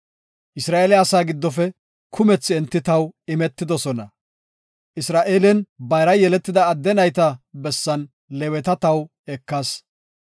Isra7eele asaa giddofe kumethi enti taw imetidosona; Isra7eelen bayra yeletida adde nayta bessan Leeweta taw ekas.